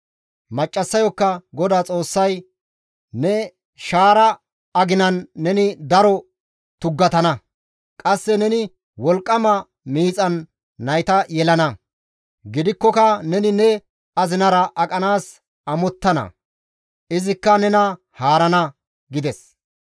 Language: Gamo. Maccassayokka GODAA Xoossay, «Ne shaaraza aginan neni daro tuggatana; qasse neni wolqqama miixan nayta yelana. Gidikkoka neni ne azinara aqanaas amottana; izikka nena haarana» gides.